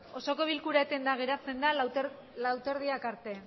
osoko bilkura etena geratzen lau eta erdiak arte